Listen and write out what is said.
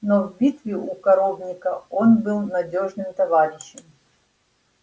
но в битве у коровника он был надёжным товарищем